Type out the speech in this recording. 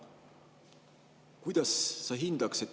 Hea Mart!